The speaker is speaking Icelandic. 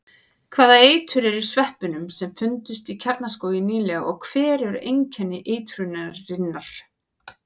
Hvaða eitur er í sveppunum sem fundust í Kjarnaskógi nýlega og hver eru einkenni eitrunarinnar?